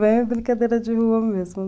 Brincadeira de rua mesmo.